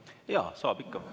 Jaa, saab ikka.